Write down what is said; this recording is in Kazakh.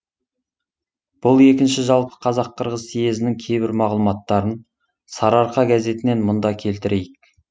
бұл екінші жалпы қазақ қырғыз съезінің кейбір мағлұматтарын сарыарқа газетінен мұнда келтірейік